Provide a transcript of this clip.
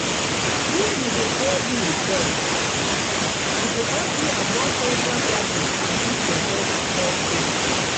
if you dey pay bill first e go help you avoid extra charges and keep your credit score clean.